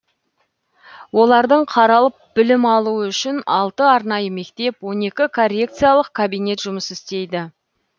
олардың қаралып білім алуы үшін алты арнайы мектеп он екі коррекциялық кабинет жұмыс істейді